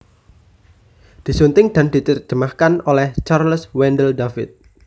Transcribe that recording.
Disunting dan diterjemahkan oleh Charles Wendell David